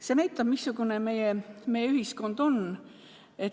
See näitab, missugune meie ühiskond on.